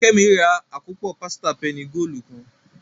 Kemi rà akopọ pasita penny goolu kán